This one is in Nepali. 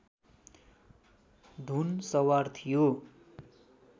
धुन सवार थियो